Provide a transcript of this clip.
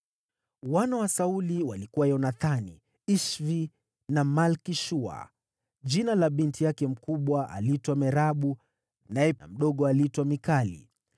Wana wa Sauli walikuwa Yonathani, Ishvi na Malki-Shua. Jina la binti yake mkubwa lilikuwa Merabu, naye mdogo aliitwa Mikali.